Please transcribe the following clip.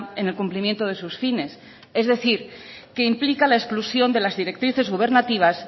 en el cumplimiento de sus fines es decir que implica la exclusión de las directrices gubernativas